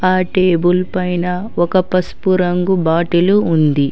ఆ టేబుల్ పైన ఒక పసుపు రంగు బాటిలు ఉంది.